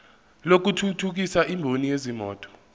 lokuthuthukisa imboni yezimoto